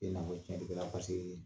E na fɔ tiɲɛnikɛla paseke